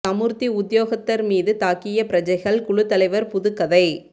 சமுர்த்தி உத்தியோகத்தர் மீது தாக்கிய பிரஜைகள் குழு தலைவர் புதுக் கதை